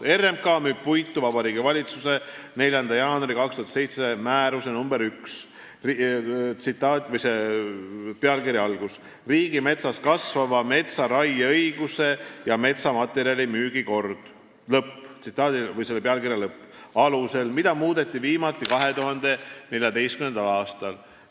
" RMK müüb puitu Vabariigi Valitsuse 4. jaanuari 2007 määruse nr 1 "Riigimetsas kasvava metsa raieõiguse ja metsamaterjali müügi kord" alusel, mida muudeti viimati 2014. aastal.